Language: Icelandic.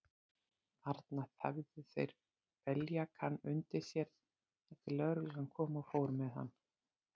Þarna þæfðu þeir beljakann undir sér, þar til lögreglan kom og fór með hann.